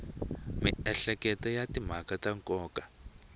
miehleketo ya timhaka ta nkoka